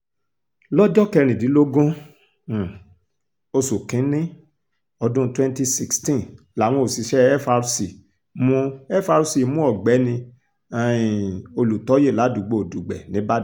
lọ́jọ́ kẹrìndínlógún um oṣù kìn-ín-ní ọdún twenty sixteen làwọn òṣìṣẹ́ frc mú frc mú ọ̀gbẹ́ni um olùtọ́yè ládùúgbò dùgbẹ́ níìbàdàn